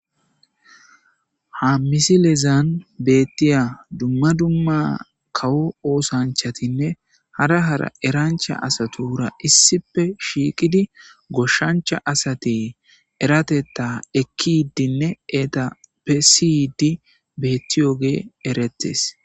Ha misilezan beettiya dumma dumma kawo oosanchatinne hara hara erancha asatu wura issippe shiiqidi goshshancha asate eratetta ekki iddinne eta pesiyidi bettiyoge erettes.